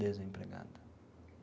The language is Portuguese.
Desempregada.